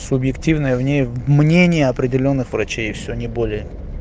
субъективное мне мнение определённых врачей и всё не более